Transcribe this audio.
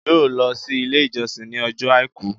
yóò lọ si ilé ìjósìn ní Ọjọ́ aìkú.